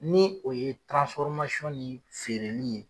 Ni o ye ni feereli ye